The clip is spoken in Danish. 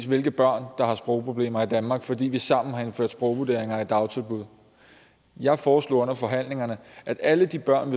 hvilke børn der har sprogproblemer i danmark fordi vi sammen har indført sprogvurderinger i dagtilbud jeg foreslog under forhandlingerne at alle de børn